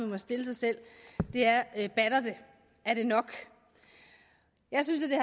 må stille sig selv er bare batter det er det nok jeg synes at det